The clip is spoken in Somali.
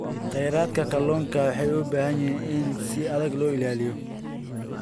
Khayraadka kalluunka waxa ay u baahan yihiin in si adag loo ilaaliyo.